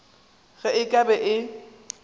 ge e ka be e